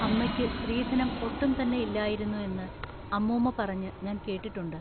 അമ്മക്ക് സ്ത്രീധനം ഒട്ടും തന്നെ ഇല്ലായിരുന്നു എന്നു അമ്മുമ്മ പറഞ്ഞു ഞാൻ കേട്ടിട്ടുണ്ട്‌.